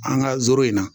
An ka zoro in na